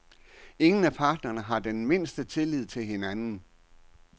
Ingen af parterne har den mindste tillid til hinanden.